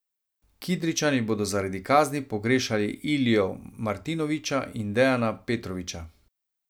Kidričani bodo zaradi kazni pogrešali Ilijo Martinovića in Dejana Petrovića.